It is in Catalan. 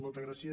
moltes gràcies